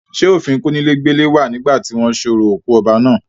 ṣé òfin kónílé gbélé wà nígbà tí wọ́n sorò òkú ọba náà.?